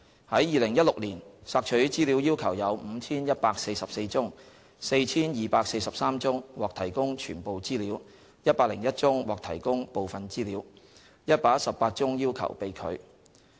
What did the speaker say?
在2016年，索取資料要求有 5,144 宗 ，4,243 宗獲提供全部資料 ，101 宗獲提供部分資料 ，118 宗要求被拒。